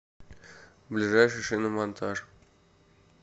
ближайший шиномонтаж